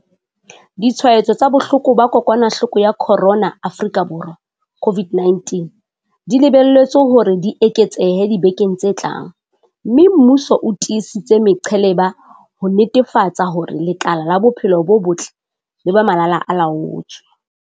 Ditshwaetso tsa bohloko ba kokwanahloko ya corona Afrika Borwa, COVID-19, di lebelletswe hore di eketsehe dibekeng tse tlang, mme mmuso o tiisitse meqheleba ho netefatsa hore lekala la bophelo bo botle le ba malalaa-laotswe.